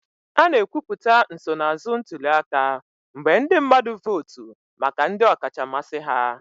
A na-ekwupụta nsonaazụ ntuli aka mgbe ndị mmadụ votu maka ndị ọkacha mmasị ha